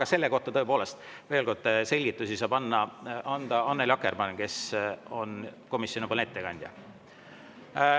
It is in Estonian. Aga selle kohta, tõepoolest, saab selgitusi anda Annely Akkermann, kes on komisjonipoolne ettekandja.